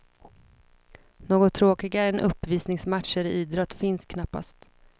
Något tråkigare än uppvisningsmatcher i idrott finns knappast.